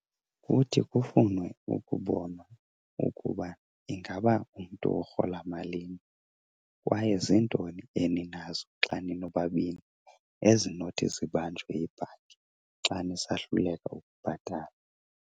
Kuthi kufunwe ukubonwa ukuba ingaba umntu urhola malini kwaye ziintoni eninazo xa ninobabini ezinothi zibanjwe yibhanki xa nisahluleka ukubhatala.